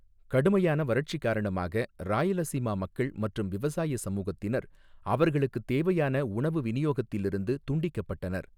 கடுமையான வறட்சி காரணமாக, ராயலசீமா மக்கள் மற்றும் விவசாய சமூகத்தினர், அவர்களுக்குத் தேவையான உணவு விநியோகத்திலிருந்து துண்டிக்கப்பட்டனர்.